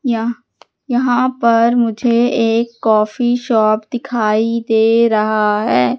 यह यहां पर मुझे एक कॉफी शॉप दिखाई दे रहा है।